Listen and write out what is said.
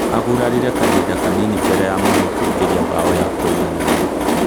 Agurarire kahinda kanini, mbere ya mũhiu kũigeria mbaũ ya kũiganania